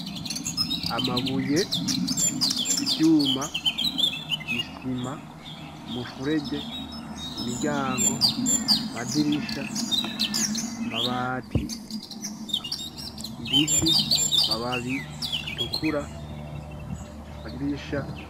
Amabuye ,ivyuma, isima ,mu furege Imiryango, madirisha ,mabati ,Ibiti, mababi, aAtukura ,madirisha.